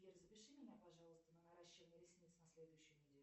сбер запиши меня пожалуйста на наращивание ресниц на следующую неделю